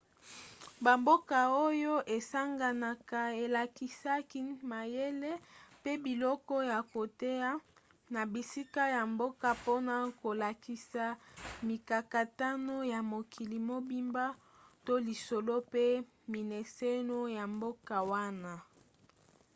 bamboka oyo esanganaka elakisaki mayele mpe biloko ya koteya na bisika ya mboka mpona kolakisa mikakatano ya mokili mobimba to lisolo mpe mimeseno ya mboka wana